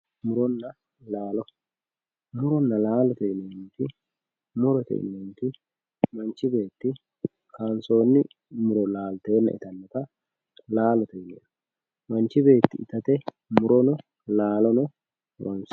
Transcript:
Muronna laalo muronna laalote yinanniri murote yinanniti manchi beetti kaansoonni muro laaltenna itannota laalote yinanni manchi beetti itate murono laalono horonsiranno